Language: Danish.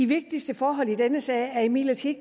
vigtigste forhold i denne sag er imidlertid